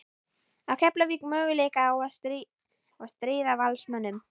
Á Keflavík möguleika á að stríða Valsmönnum?